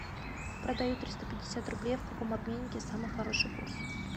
продаю триста пятьдесят рублей в каком обменнике самый хороший курс